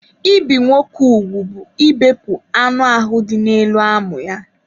Ibi nwoke ugwu bụ ịbepụ anụ ahụ dị n'elu amụ ya.